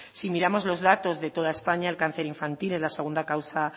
si miramos los datos de toda españa el cáncer infantil es la segunda causa